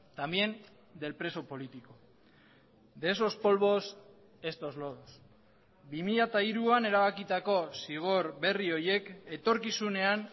también del preso político de esos polvos estos lodos bi mila hiruan erabakitako zigor berri horiek etorkizunean